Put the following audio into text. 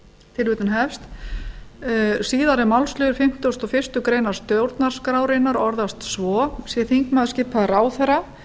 að lesa hana síðari málsliður fimmtugasta og fyrstu grein stjórnarskrárinnar orðast svo sé þingmaður skipaður ráðherra